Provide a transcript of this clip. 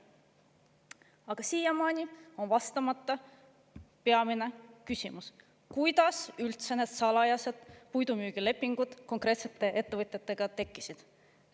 Aga siiamaani on vastamata peamine küsimus, kuidas üldse need salajased puidumüügilepingud konkreetsete ettevõtjatega tekkisid.